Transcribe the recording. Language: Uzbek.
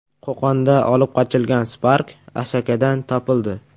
Qo‘qonda olib qochilgan Spark Asakadan topildi.